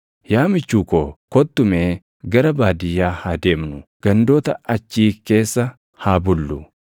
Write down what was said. Yaa michuu ko, kottu mee gara baadiyyaa haa deemnu; gandoota achii keessa haa bullu.